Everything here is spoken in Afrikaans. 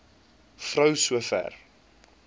vrou so ver